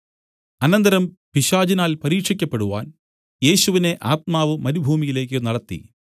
അനന്തരം പിശാചിനാൽ പരീക്ഷിക്കപ്പെടുവാൻ യേശുവിനെ ആത്മാവ് മരുഭൂമിയിലേക്ക് നടത്തി